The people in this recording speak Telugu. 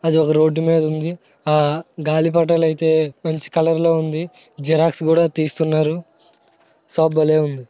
అది ఒక రోడ్డు మీద ఉంది ఆ గాలిపటాలయితే మంచి కలర్లో ఉంది. జిరాక్స్. కూడా తీస్తున్నారు షాప్ . భలే ఉంది.